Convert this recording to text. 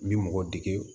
N bi mɔgɔ dege